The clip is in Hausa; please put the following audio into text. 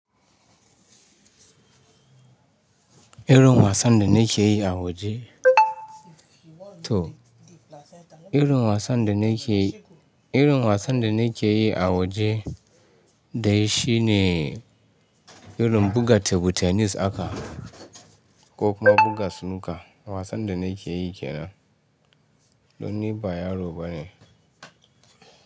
Irin wasan da na ke yi a waje. Toh irin wasan da na ke yi, irin wasan da na ke yi a waje dai shi ne irin buga tebur tennis haka ko kuma buga snooker. Wasan da na ke yi ke nan. Don ni ba yaro ba ne.